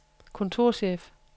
kontorchef